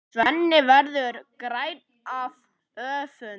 Svenni verður grænn af öfund.